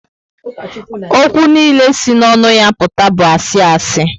Ókwú niile si n'onu ya aputa bu asi asi